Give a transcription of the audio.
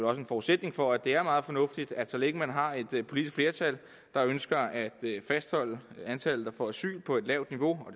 er en forudsætning for at det er meget fornuftigt at så længe man har et politisk flertal der ønsker at fastholde antallet der får asyl på et lavt niveau og